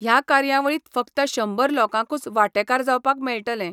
ह्या कार्यावळीतं फकत शंबर लोकांकूच वाटेकार जावपाक मेळटले.